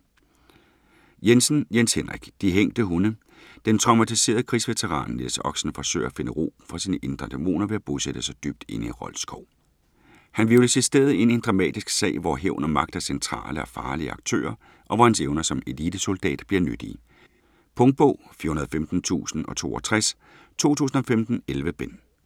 Jensen, Jens Henrik: De hængte hunde Den traumatiserede krigsveteran Niels Oxen forsøger at finde ro for sine indre dæmoner ved at bosætte sig dybt inde i Rold Skov. Han hvirvles i stedet ind i en dramatisk sag hvor hævn og magt er centrale og farlige aktører, og hvor hans evner som elitesoldat bliver nyttige. Punktbog 415062 2015. 11 bind.